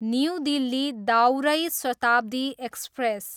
new Delhi, दाउरै Shatabdi express